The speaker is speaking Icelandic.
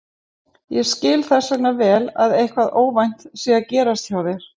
Ég skil þess vegna vel að eitthvað óvænt sé að gerast hjá þér.